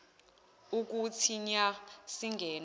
kuthi nya singene